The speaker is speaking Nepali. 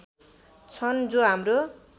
छन् जो हाम्रो